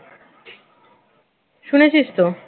শুনেছিস তো